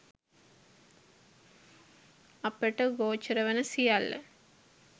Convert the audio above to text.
අපට ගෝචර වන සියල්ල